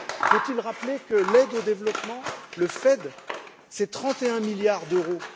Faut il rappeler que l'aide au développement, le FED, c'est 31 milliards d'euros.